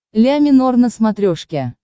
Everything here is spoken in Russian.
ля минор на смотрешке